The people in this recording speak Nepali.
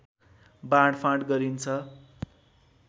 बाँडफाट गरिन्छ